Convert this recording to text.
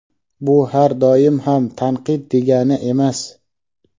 Bu har doim ham "tanqid" degani emas.